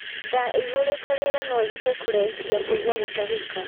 Ndaa ĩihurute rĩera noĩhote kũrehithia kuugia gutahika